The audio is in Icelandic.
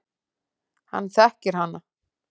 Hann þekkir hana.